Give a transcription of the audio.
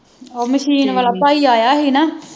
ਉਹ ਮਸ਼ੀਨ ਵਾਲਾ ਭਾਈ ਆਇਆ ਹੀ ਨਾ